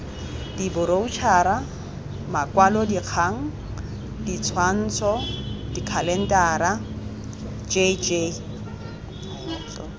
diboroutšhara makwalodikgang ditshwantsho dikhalentara jljl